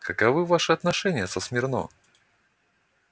каковы ваши отношения со смирно